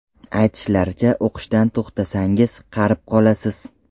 Aytishlaricha, o‘qishdan to‘xtasangiz, qarib qolasiz.